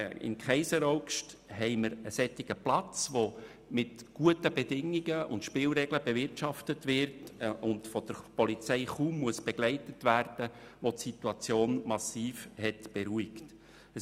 In Kaiseraugst haben wir einen solchen Platz, der mit guten Bedingungen und Spielregeln bewirtschaftet wird und von der Polizei kaum begleitet werden muss, wodurch die Situation massiv beruhigt wurde.